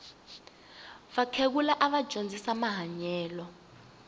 vakhegula ava dyondzisa mahanyelo